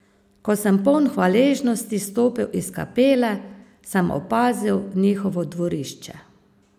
Ko sem poln hvaležnosti stopil iz kapele, sem opazil njihovo dvorišče.